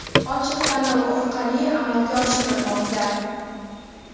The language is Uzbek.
ochiq tanlov orqali amalga oshirilmoqda.